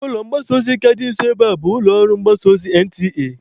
Ụlọ mgbasa ozi ka dị nso ebe a bụ ụlọ mgbasa ozi NTA.